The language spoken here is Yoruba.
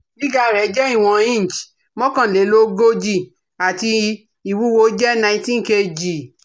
Gíga rẹ̀ jẹ́ ìwọ̀n inch mọ́kànlélógójì ati iwuwo jẹ nineteen kg